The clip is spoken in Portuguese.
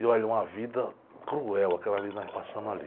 E olha, uma vida cruel aquela vida que nós passamos ali.